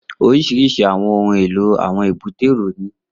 Oríṣiríṣi àwọn ohun èlò àwọn èbúté èrò ní